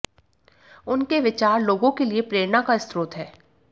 उनके विचार लोगों के लिए प्रेरणा का स्रोत हैं